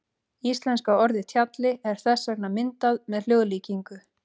Íslenska orðið tjalli er þess vegna myndað með hljóðlíkingu.